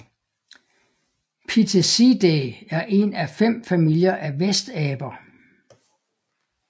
Pitheciidae er en af fem familier af vestaber